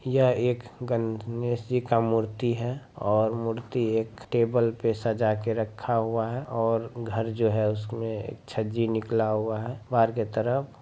यह एक ग-णेश जी का मूर्ति है और मूर्ति एक टेबल पे सजा के रखा हुआ है और घर जो है उसमे छज्जी निकला हुआ है बाहर के तरफ।